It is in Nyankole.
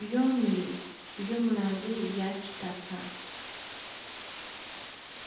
byomire biri omu rangi eya kitaka